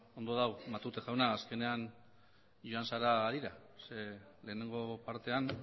beno ondo dago matute jauna azkenean joan zara harira lehenengo partean